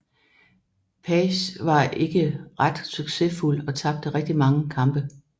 Page var ikke ret succesfuld og tabte rigtig mange kampe